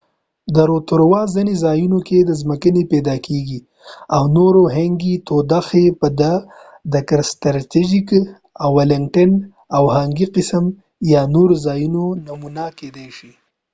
د روتوروا ځینې ځایونو کې د ځمکنۍ تودوخې hangi پیدا کیږي او نور قسم hangi په دکرستچرچ ولنګټن او یا نورو ځایونو کې نمونه کیدای شي